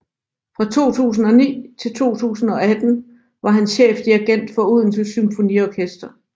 Fra 2009 til 2018 var han chefdirigent for Odense Symfoniorkester